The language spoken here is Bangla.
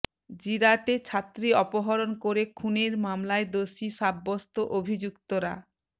জিরাটে ছাত্রী অপহরণ করে খুনের মামলায় দোষী সাব্য়স্ত অভিযুক্তরা